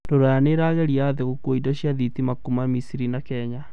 rũraya nĩĩragiria athii gũkua indo cĩa thitima kuma misiri na Kenya